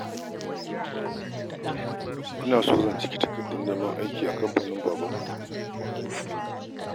Ina son zan cike takardar neman aiki a kamfanin Babanku